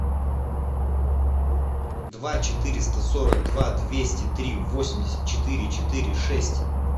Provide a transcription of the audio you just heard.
два четыреста сорок два двести три восемьдесят четыре четыре шесть